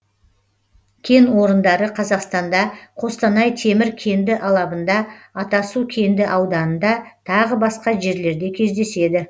кен орындары қазақстанда қостанай темір кенді алабында атасу кенді ауданында тағы басқа жерлерде кездеседі